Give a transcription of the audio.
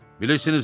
Bilirsinizmi?